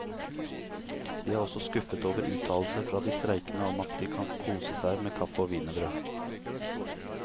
De er også skuffet over uttalelser fra de streikende om at de kan kose seg med kaffe og wienerbrød.